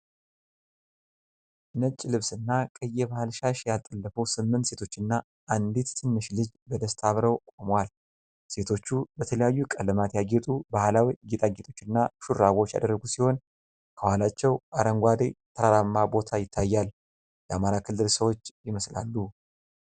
ነጭ ልብስና ቀይ የባህል ሻሽ ያጠለፉ ስምንት ሴቶችና አንዲት ትንሽ ልጅ በደስታ አብረው ቆመዋል። ሴቶቹ በተለያዩ ቀለማት ያጌጡ ባሕላዊ ጌጣጌጦችና ሹራቦች ያደረጉ ሲሆን፤ ከኋላቸው አረንጓዴ ተራራማ ቦታ ይታያል። የ አማራ ክልል ሰዎች ይመስላሉ።